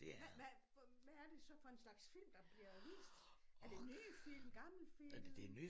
Hvad hvad hvad er det så for en slags film der bliver vist er det en ny film gammel film?